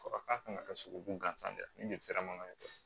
Fɔ k'a kan ka taa sogobu gansan de fɛrɛ ma ye